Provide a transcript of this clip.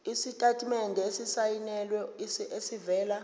isitatimende esisayinelwe esivela